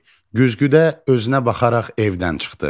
Güzgüdə özünə baxaraq evdən çıxdı.